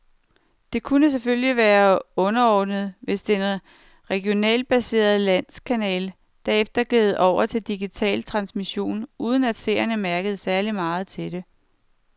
Det kunne selvfølgelig være underordnet, hvis den regionalt baserede landskanal derefter gled over til digital transmission, uden at seerne mærkede særlig meget til det.